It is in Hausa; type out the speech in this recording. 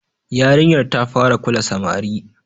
Yarinyar ta fara kula samari.